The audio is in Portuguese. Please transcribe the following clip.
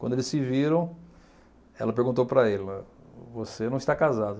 Quando eles se viram, ela perguntou para ele, você não está casado?